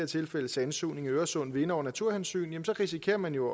tilfælde sandsugning i øresund vinde over naturhensyn risikerer man jo